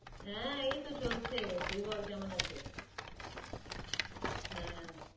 আহ এই তো চলছে, তুই বল কেমন আছো হ্যাঁ